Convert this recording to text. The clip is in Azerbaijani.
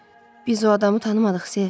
Biz o adamı tanımadıq, Ser.